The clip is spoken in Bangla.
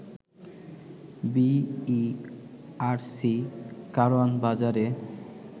বিইআরসি কারওয়ান বাজারে